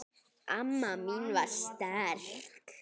Amma mín var sterk.